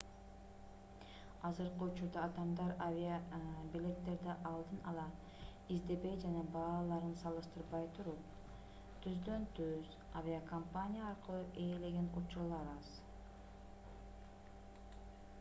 азыркы учурда адамдар авиабилеттерди алдын ала издебей жана бааларын салыштырбай туруп түздөн-түз авиакомпания аркылуу ээлеген учурлар аз